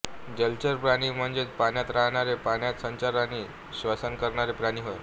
जलचर प्राणी म्हणजेच पाण्यात राहणारे पाण्यात संचार आणि श्वसन करणारे प्राणी होय